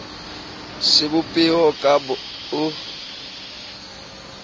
sebo peho ka b o